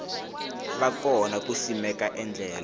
va kona ku simeka endlelo